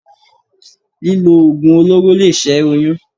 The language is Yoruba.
Lílo Oògùn olóró lè ṣẹ́ oyún.